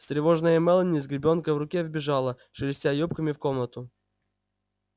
встревоженная мелани с гребёнкой в руке вбежала шелестя юбками в комнату